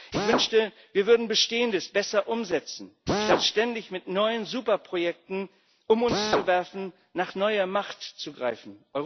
Ich wünschte, wir würden Bestehendes besser umsetzen, statt ständig mit neuen Superprojekten um uns zu werfen, nach neuer Macht zu greifen.